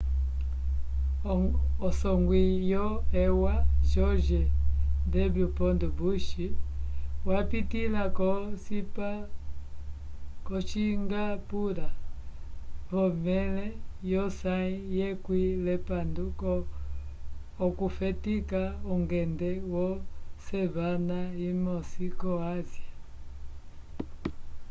usongwi wo eua george w bush wapitĩla ko-singapura vomẽle yosãyi yekwĩ l'epandu okufetika ungende wosemana imosi ko-ásia